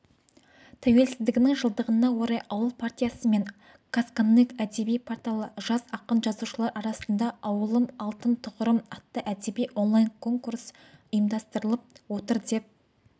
тәуелсіздігінің жылдығына орай ауыл партиясы мен қазконтент әдебиет порталы жас ақын-жазушылар арасында ауылым алтын тұғырым атты әдеби онлайн-конкурс ұйымдастырып отыр деп